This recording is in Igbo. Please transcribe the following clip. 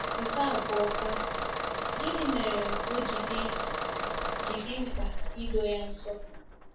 Nke abụọkwa, gịnị mere o ji dị ji dị mkpa ị doo ya nsọ?